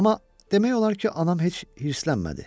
Amma demək olar ki, anam heç hirslənmədi.